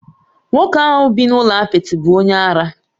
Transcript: Nwoke ahu bi n'ulo apịtị bu onye ara